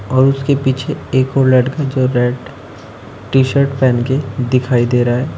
और उसके पीछे एक वो लड़का जो रेड टी शर्ट पेहन के दिखाई दे रहा है।